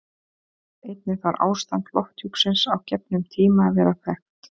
Einnig þarf ástand lofthjúpsins á gefnum tíma að vera þekkt.